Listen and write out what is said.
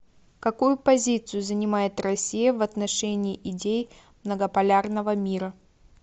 какую позицию занимает россия в отношении идей многополярного мира